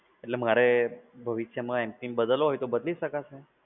એટલે મારે ભવિષ્યમાં mpin બદલવો હોય તો બદલી શકાશે?